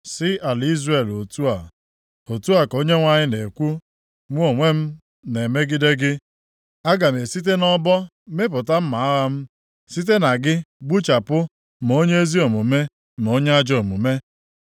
sị ala Izrel otu a, ‘Otu a ka Onyenwe anyị na-ekwu, Mụ onwe m na-emegide gị. Aga m esite nʼọbọ mịpụta mma agha m, site na gị gbuchapụ ma onye ezi omume na onye ajọ omume.